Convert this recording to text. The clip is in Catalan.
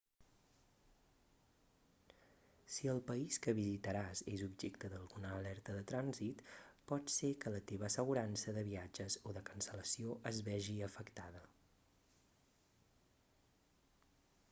si el país que visitaràs és objecte d'alguna alerta de trànsit pot ser que la teva assegurança de viatges o de cancel·lació es vegi afectada